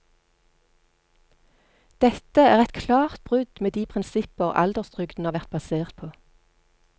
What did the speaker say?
Dette er et klart brudd med de prinsipper alderstrygden har vært basert på.